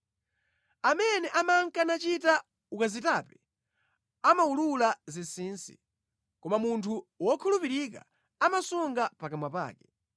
Amene amanka nachita ukazitape amawulula zinsinsi; koma munthu wokhulupirika amasunga pakamwa pake.